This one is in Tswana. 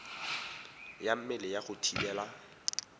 ya mmele ya go thibela